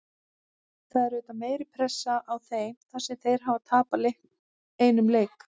Það er auðvitað meiri pressa á þeim þar sem þeir hafa tapað einum leik.